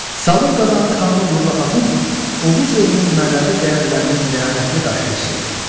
Salur Qazanın xanımı Burla xatun Oğuz elinin mənəvi dəyərlərinin ləyaqətli daşıyıcısıdır.